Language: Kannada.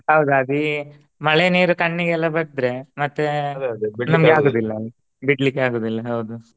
ಹೌದ ಅದಿ ಮಳೆ ನೀರು ಕಣ್ಣಿಗೆಲ್ಲ ಬಡ್ದ್ರೆ ಮತ್ತೆ ಬಿಡ್ಲಿಕೆ ಆಗುದಿಲ್ಲ ಹೌದು.